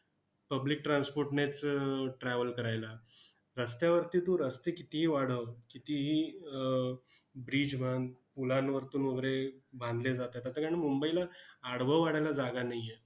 Public transport नेच अह travel करायला. रस्त्यावरती तू रस्ते कितीही वाढव, कितीही अह bridge बांध. पुलांवरतून वगैरे बांधले जातात. आता कारण मुंबईला आडवं वाढायला जागा नाही आहे.